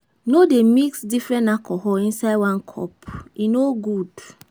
No dey mix different alcohol inside one cup, e no good.